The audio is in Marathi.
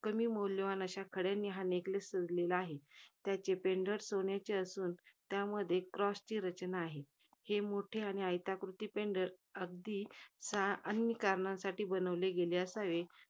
कमी मौल्यवान अशा खड्यांनी हा neckless सजलेला आहे. त्याचे pendent सोन्याचे असून त्यामध्ये corss ची रचना आहे. हे मोठे आणि pendent अगदी, सा कारणांसाठी बनवले गेले असावे